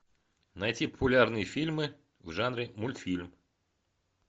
найти популярные фильмы в жанре мультфильм